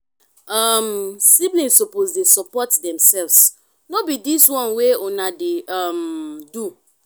um siblings suppose dey support demselves no be dis one wey una dey um do.